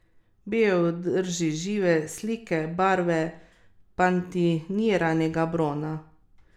Bil je v drži žive slike barve patiniranega brona.